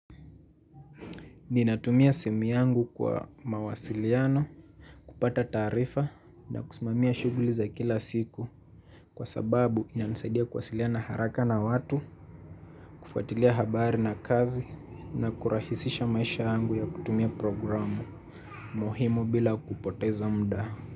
Ninatumia simu yangu kwa mawasiliano, kupata taarifa na kusumamia shughuli za kila siku kwa sababu inanisaidia kuwasiliano haraka na watu, kufuatilia habari na kazi na kurahisisha maisha yangu ya kutumia programu muhimu bila kupoteza muda.